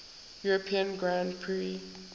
european grand prix